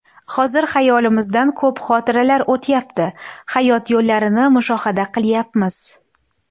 Hozir xayolimizdan ko‘p xotiralar o‘tayapti, hayot yo‘llarini mushohada qilayapmiz.